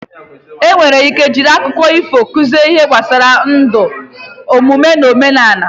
Enwere ike iji akụkọ ifo kụzie ihe gbasara ndụ, omume, na omenala.